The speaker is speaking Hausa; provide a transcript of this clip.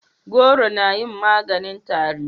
goro na yin maganin tari